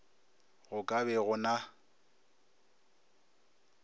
go ka be go na